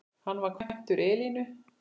Hann var kvæntur Elínu